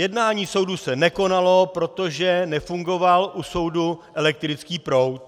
Jednání soudu se nekonalo, protože nefungoval u soudu elektrický proud.